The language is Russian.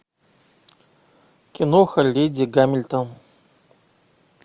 киноха леди гамильтон